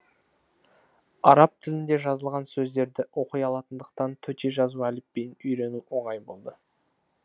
араб тілінде жазылған сөздерді оқи алатындықтан төте жазу әліпбиін үйрену оңай болды